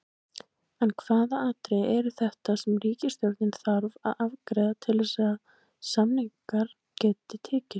En hvaða atriði eru þetta sem ríkisstjórnin þarf að afgreiða til að samningar geti tekist?